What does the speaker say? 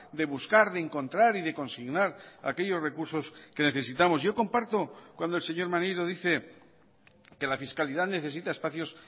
de buscar de encontrar y de consignar aquellos recursos que necesitamos yo comparto cuando el señor maneiro dice que la fiscalidad necesita espacios